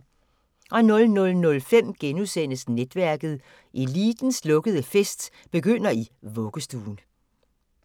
00:05: Netværket: Elitens lukkede fest begynder i vuggestuen *